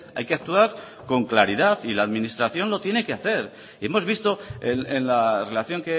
hay que actuar con claridad y la administración lo tiene que hacer y hemos visto en la relación